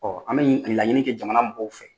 an bɛ laɲini kɛ jamana mɔgɔw fɛ.